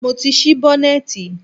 Mo ti ṣí bọ́nẹ̀tì.